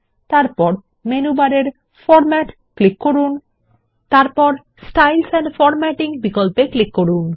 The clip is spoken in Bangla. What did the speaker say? এরপর মেনু বারের ফরম্যাট ক্লিক করুন এবং স্টাইলস এন্ড ফরম্যাটিং বিকল্পে ক্লিক করুন